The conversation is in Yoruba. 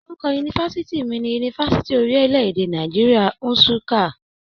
Orúkọ yunifásítì mí ní Yunifásítì orilẹ-èdè Nàìjíríà, Nssuka.